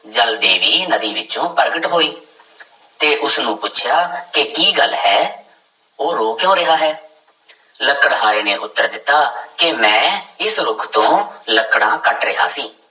ਜਲ ਦੇਵੀ ਨਦੀ ਵਿੱਚੋਂ ਪ੍ਰਗਟ ਹੋਈ ਤੇ ਉਸਨੂੰ ਪੁੱਛਿਆ ਕਿ ਕੀ ਗੱਲ ਹੈ ਉਹ ਰੋ ਕਿਉਂ ਰਿਹਾ ਹੈ ਲੱਕੜਹਾਰੇ ਨੇ ਉੱਤਰ ਦਿੱਤਾ ਕਿ ਮੈਂ ਇਸ ਰੁੱਖ ਤੋਂ ਲੱਕੜਾਂ ਕੱਟ ਰਿਹਾ ਸੀ।